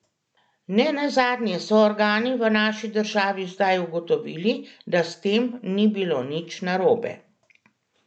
Ne nazadnje so organi v naši državi zdaj ugotovili, da s tem ni bilo nič narobe.